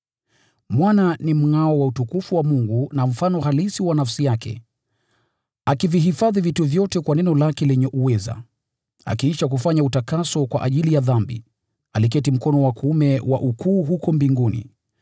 Mwana ni mngʼao wa utukufu wa Mungu na mfano halisi wa nafsi yake, akivihifadhi vitu vyote kwa neno lake lenye uweza. Akiisha kufanya utakaso kwa ajili ya dhambi, aliketi mkono wa kuume wa Aliye Mkuu huko mbinguni.